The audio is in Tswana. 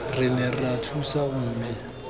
re ne ra thusana mme